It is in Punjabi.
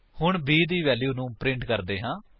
ਹੁਣ b ਦੀ ਵੈਲਿਊ ਨੂੰ ਪ੍ਰਿੰਟ ਕਰਦੇ ਹਾਂ